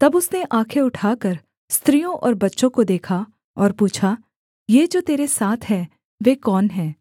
तब उसने आँखें उठाकर स्त्रियों और बच्चों को देखा और पूछा ये जो तेरे साथ हैं वे कौन हैं